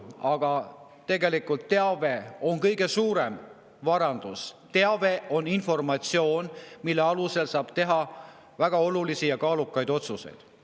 Aga tegelikult teave on kõige suurem varandus, teave on informatsioon, mille alusel saab teha väga olulisi ja kaalukaid otsuseid.